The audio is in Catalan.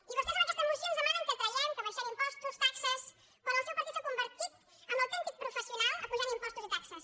i vostès amb aquesta moció ens demanen que tra·guem que abaixem impostos taxes quan el seu partit s’ha convertit en l’autèntic professional apujant impos·tos i taxes